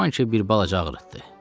Güman ki, bir balaca ağrıtdı.